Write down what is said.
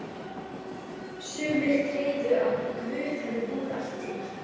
Sumir tryðu að Guð hefði búið allt til.